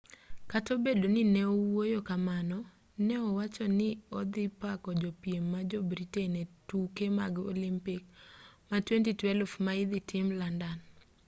kata obedo ni neowuoyo kamano ne owachoni ni odhi pako jopiem ma jo-britain e tuke mag olimpik ma 2012 ma idhi tim london